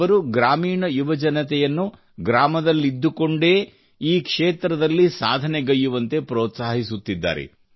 ಅವರು ಗ್ರಾಮೀಣ ಯುವಜನತೆಯನ್ನು ಗ್ರಾಮದಲ್ಲಿದ್ದುಕೊಂಡೇ ಈ ಕ್ಷೇತ್ರದಲ್ಲಿ ಸಾಧನೆಗೈಯ್ಯುವಂತೆ ಪ್ರೋತ್ಸಾಹಿಸುತ್ತಿದ್ದಾರೆ